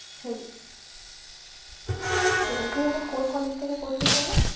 সেই সেটাই, তুই এখন কোন college থেকে করছিস যেনো?